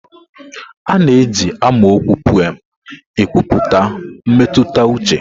A na-eji amaokwu pụem ekwupụta mmetụta uche.